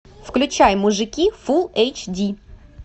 включай мужики фул эйч ди